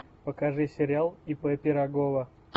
покажи сериал ип пирогова